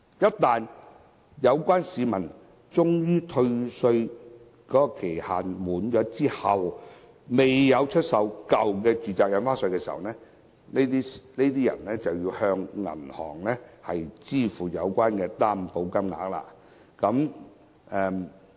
一旦有關的退稅期限屆滿，但市民還未出售舊有住宅物業，他們便要向銀行支付有關的擔保金額。